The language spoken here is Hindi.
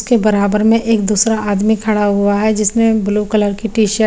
इसके बराबर में एक आदमी खड़ा हुआ है जिसने ब्लू कलर की टी शर्ट --